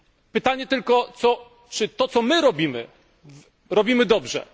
Pytanie tylko, czy to co my robimy, robimy dobrze?